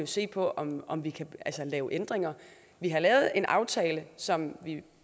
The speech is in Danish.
se på om om vi kan lave ændringer vi har lavet en aftale som vi